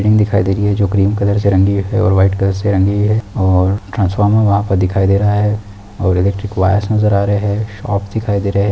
Building दिखाई दे रही है जो ग्रीन कलर से रंगी है और वाइट कलर से रंगी है और ट्रासफोर्मर वहाँं पर दिखाई दे रहा है और इलेक्ट्रिक वायरस् नज़र आ रहे है शॉपस दिखाई दे रहे है।